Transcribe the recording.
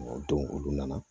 O don olu nana